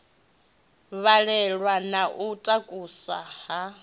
balelwa na u takusa u